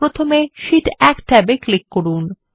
প্রথমে শীট 1 ট্যাবে ক্লিক করুন